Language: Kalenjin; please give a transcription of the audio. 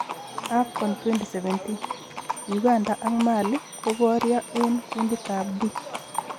AFCON 2017;Uganda ak Mali koborio eng kunditab D